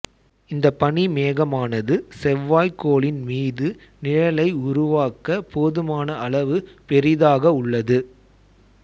இந்த பனி மேகமானது செவ்வாய் கோளின் மீது நிழலை உருவாக்க போதுமான அளவு பெரிதாக உள்ளது